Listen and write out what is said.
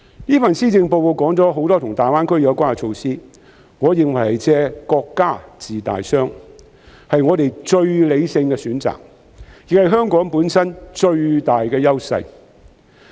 這份施政報告提到很多與大灣區有關的措施，我認為"借國家治大傷"是我們最理性的選擇，亦是香港本身最大的優勢。